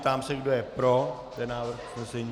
Ptám se, kdo je pro ten návrh usnesení.